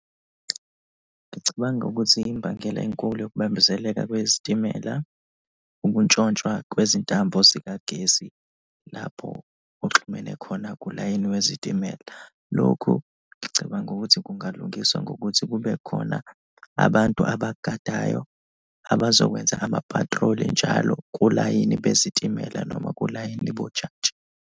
Ngicabanga ukuthi imbangela enkulu yokubambezeleka kwezitimela ukuntshontshwa kwezintambo zikagesi lapho oxhumene khona kulayini wezitimela. Lokhu ngicabanga ukuthi kungalungiswa ngokuthi kube khona abantu abagadayo, abazokwenza ama-patrol-i njalo kulayini bezitimela noma kulayini .